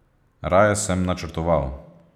Raje sem načrtoval.